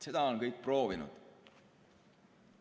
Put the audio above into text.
Seda on kõik proovinud.